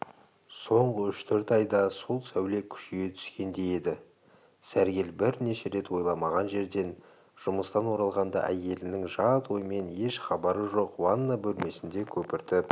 соңғы үш-төрт айда сол сәуле күшейе түскендей еді сәргел бірнеше рет ойламаған жерден жұмыстан оралғанда әйелінің жат оймен еш хабары жоқ ванна бөлмесінде көпіртіп